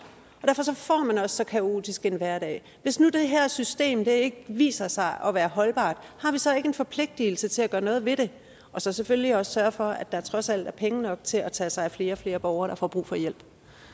og så kaotisk en hverdag hvis nu det her system ikke viser sig at være holdbart har vi så ikke en forpligtelse til at gøre noget ved det og så selvfølgelig også sørge for at der trods alt er penge nok til at tage sig af flere og flere borgere der får brug for hjælp